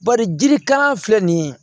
Bari jiri kala filɛ nin ye